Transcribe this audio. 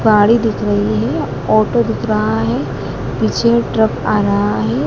साड़ी दिख रही है ऑटो दिख रहा है पीछे ट्रक आ रहा है।